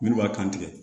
Minnu b'a kan tigɛ